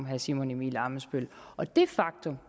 herre simon emil ammitzbøll og det faktum